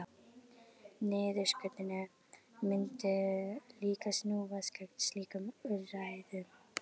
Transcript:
niðurskurðinum, myndu líka snúast gegn slíkum úrræðum.